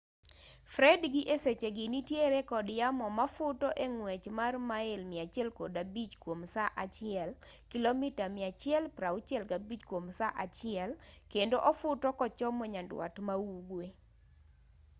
fred gi e sechegi nitiere kod yamo mafuto e ng'wech mar mail 105 kwom saa achiel kilomita 165 kwom saa achiel kendo ofuto kochomo nyandwat ma ugwe